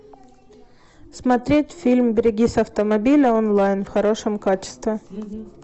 смотреть фильм берегись автомобиля онлайн в хорошем качестве